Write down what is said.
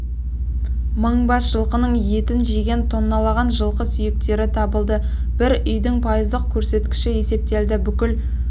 мың бас жылқының етін жеген тонналаған жылқы сүйектері табылды бір үйдің пайыздық көрсеткіші есептелді бүкіл